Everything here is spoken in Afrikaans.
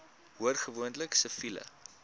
hoor gewoonlik siviele